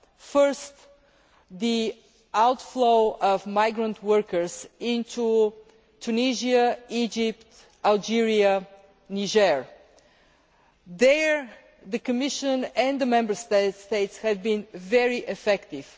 First, the outflow of migrant workers into Tunisia, Egypt, Algeria and Niger there the Commission and the Member States have been very effective.